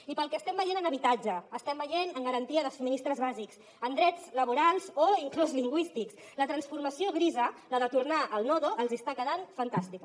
i pel que estem veient en habitatge estem veient en garantia de subministraments bàsics en drets laborals o inclús lingüístics la transformació grisa la de tornar al nodo els està quedant fantàstica